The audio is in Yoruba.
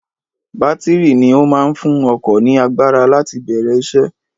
Bátìrì ni ó máa ń fún ọkọ̀ ní agbára láti bẹ̀rẹ̀ isẹ́.